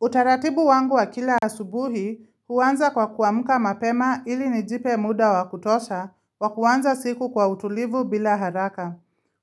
Utaratibu wangu wa kila asubuhi, huwanza kwa kuamuka mapema ili nijipe muda wakutosha, wa kuwanza siku kwa utulivu bila haraka.